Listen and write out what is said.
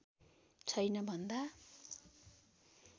छैन भन्दा